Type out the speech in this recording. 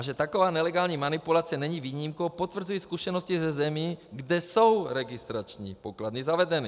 A že taková nelegální manipulace není výjimkou, potvrzují zkušenosti ze zemí, kde jsou registrační pokladny zavedeny.